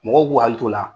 Mɔgɔw k'u hakili t'o la